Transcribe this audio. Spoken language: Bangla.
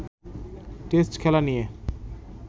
টেস্ট খেলা নিয়ে